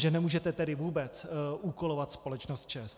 Že nemůžete tedy vůbec úkolovat společnost ČEZ.